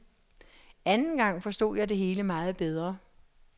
Anden gang forstod jeg det hele meget bedre.